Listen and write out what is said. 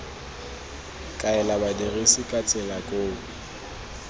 kaela badirisi ba tsela koo